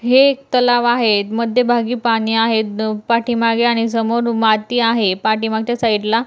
हे एक तलाव आहे मध्यभागी पाणी आहे पाठीमागे आणि समोर माती आहे पाठीमागच्या साइडला --